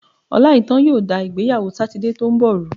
Ọláìítán yóò da ìgbéyàwó Sátidé tó ń bọ̀ rú.